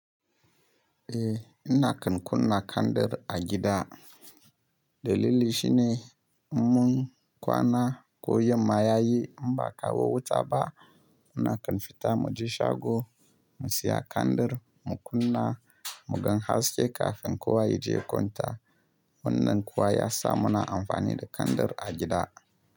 Eh, ina kan kunna kandir a gida. Dalili shine mun kwana ko yamma ya yi, inba a kawo wuta ba. Muna kan fita muje shago mu siya kandir mu kunna, mu gan haske kafin kowa ya je kwanta. Wannan kuwa ya sa muna amfani da kandir a gida.